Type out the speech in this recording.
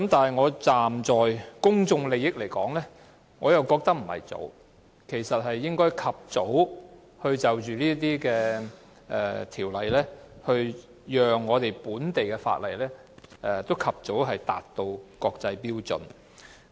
不過，站在公眾利益的角度來說，我認為這樣做並不早，這項條例草案應及早處理，讓本地法例及早達到國際標準。